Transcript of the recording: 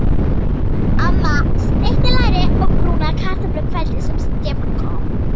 Amma steikti læri og brúnaði kartöflur kvöldið sem Stefán kom.